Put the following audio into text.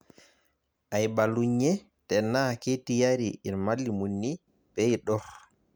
Aibalunye tenaa ketiyari irmalimuni peidurr